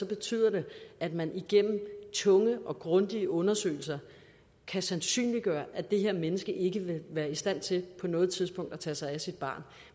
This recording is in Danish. betyder det at man igennem tunge og grundige undersøgelser kan sandsynliggøre at det her menneske ikke vil være i stand til på noget tidspunkt at tage sig af sit barn